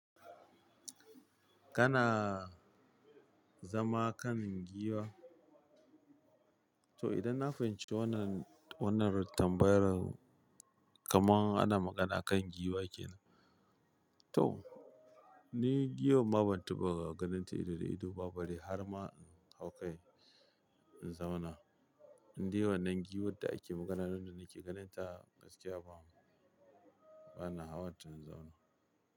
Kana zama kan giwa? To idan na fahimci wannan, wannan tambayar kamar ana magana kan giwa kenan. To ni giwan ma ban taba ganin ta ido da ido ba bare har ma in hau kai in zauna. Inde wannan giwon da ake magana, nan da nake ganin ta gaskiya ba mu, bana hawa ta in zauna.